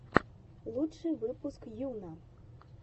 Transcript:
лучший выпуск йуна